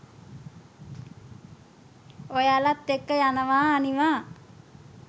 ඔයාලත් එක්ක යනවා අනිවා